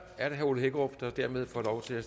er det herre ole hækkerup der dermed får lov til at